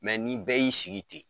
ni bɛɛ y'i sigi ten